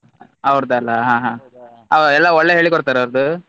ಅವ್ರುದಲ ಹಾ ಹಾ ಅವ್ರ್ ಎಲ್ಲ ಒಳ್ಳೆ ಹೇಳಿ ಕೊಡ್ತಾರಾ ಅವುರ್ದು.